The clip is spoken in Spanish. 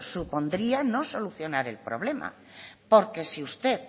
supondría no solucionar el problema porque si usted